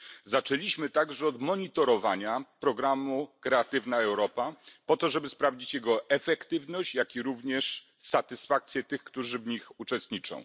Zaczęliśmy także od monitorowania programu Kreatywna Europa, po to żeby sprawdzić jego efektywność, jak również satysfakcję tych, którzy w nim uczestniczą.